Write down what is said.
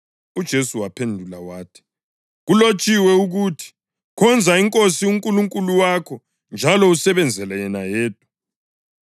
UJesu waphendula wathi, “Kulotshiwe ukuthi: ‘Khonza iNkosi uNkulunkulu wakho njalo usebenzele yena yedwa.’ + 4.8 UDutheronomi 6.13 ”